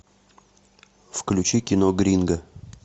включи кино гринго